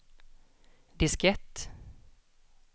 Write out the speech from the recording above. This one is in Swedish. diskett